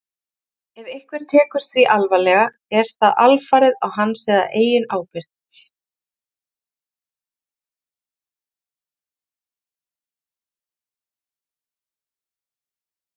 Ef einhver tekur því alvarlega er það alfarið á hans eða hennar eigin ábyrgð.